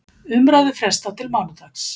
Umræðu frestað til mánudags